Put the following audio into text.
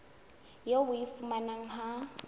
eo o e fumanang ha